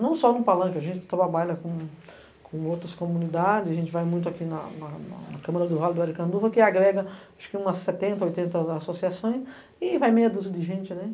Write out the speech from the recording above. Não só no Palanque, a gente trabalha com outras comunidades, a gente vai muito aqui na Câmara do Raio do Aracanduva, que agrega umas setenta, oitenta associações e vai meia dúzia de gente, né?